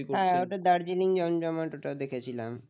দার্জিলিং জমজমাট ওটা দেখেছিলাম